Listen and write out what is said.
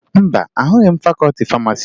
Mba, ahụghị m fakọọti famasi